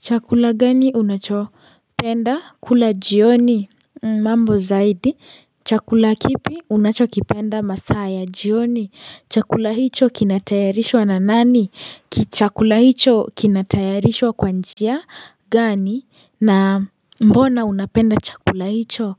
Chakula gani unachopenda kula jioni mambo zaidi chakula kipi unachopenda masaa ya jioni chakula hicho kinatayarishwa na nani kichakula hicho kinatayarishwa kwa njia gani na mbona unapenda chakula hicho